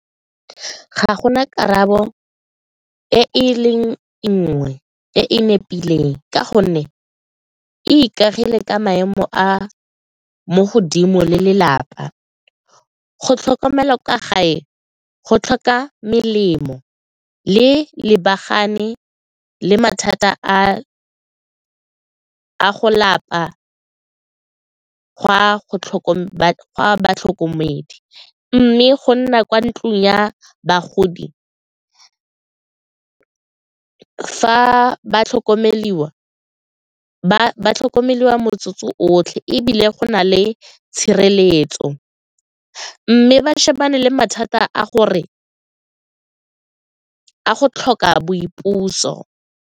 Ga go na karabo e leng nngwe e e nepileng ka gonne e ikagile ka maemo a mo godimo le lelapa, go tlhokomela kwa gae go tlhoka melemo le lebagane le mathata a go lapa gwa go tlhokomela batlhokomedi mme go nna kwa ntlong ya bagodi fa ba tlhokomeliwa ba tlhokomelwa motse otlhe ebile go na le tshireletso mme ba shebane le mathata a go tlhoka boipuso.